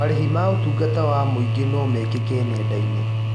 Marĩhi ma ũtungata wa mũingĩ no mekĩke nenda-inĩ.